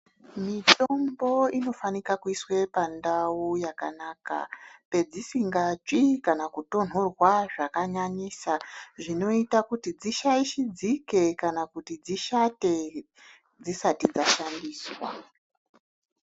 Mitombo inofanika kuiswe pandau yakanaka pedzisinga tsvii kana kutonhorwa zvaka nyanyisa zvinoita kuti dzishaishidzike kana kuti dzishate dzisati dza shandiswa.